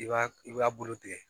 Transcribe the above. I b'a i b'a bolo tigɛ